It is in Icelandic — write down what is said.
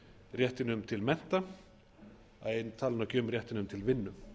réttinum til mennta að ég tali nú ekki um réttinum til vinnu